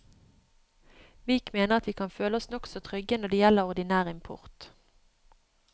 Vik mener at vi kan føle oss nokså trygge når det gjelder ordinær import.